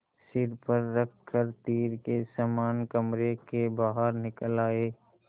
सिर पर रख कर तीर के समान कमरे के बाहर निकल आये